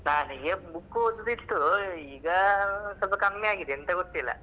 ನನಗೆ book ಓದುದು ಇತ್ತು ಈಗ ಸ್ವಲ್ಪ ಕಮ್ಮಿ ಆಗಿದೆ ಎಂತ ಗೊತ್ತಿಲ್ಲ.